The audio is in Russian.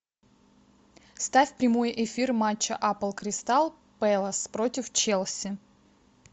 ставь прямой эфир матча апл кристал пэлас против челси